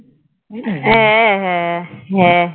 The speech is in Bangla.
হ্যাঁ হ্যাঁ হ্যাঁ